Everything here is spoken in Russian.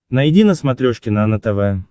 найди на смотрешке нано тв